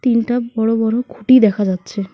তিনটা বড় বড় খুঁটি দেখা যাচ্ছে।